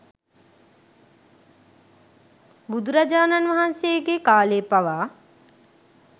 බුදුරජාණන් වහන්සේගේ කාලෙ පවා